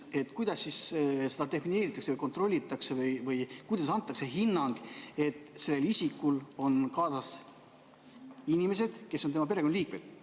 Aga kuidas seda defineeritakse, kontrollitakse või kuidas antakse hinnang, et sellel isikul on kaasas inimesed, kes on tema perekonnaliikmed?